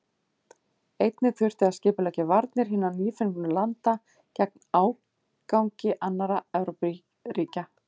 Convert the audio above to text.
Einnig þurfti að skipuleggja varnir hinna nýfengnu landa gegn ágangi annarra Evrópuríkja.